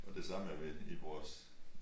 Og det samme er vi i vores